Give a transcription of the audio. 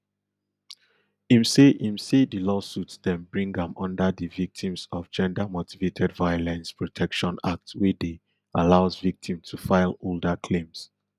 im say im say di lawsuits dem bring am under di victims of gendermotivated violence protection act wey dey allows victims to file older claims